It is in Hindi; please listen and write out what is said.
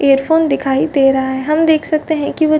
हैडफ़ोन दिखाई दे रहा है हम देख सकते है की वो--